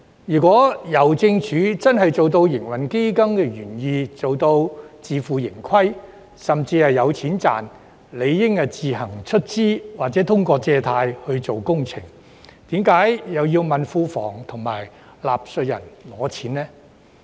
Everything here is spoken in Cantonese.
如果郵政署真的做到營運基金的原意，能夠自負盈虧，甚至有盈利，便理應自行出資或通過借貸來進行工程，為何要問庫房及納稅人討錢呢？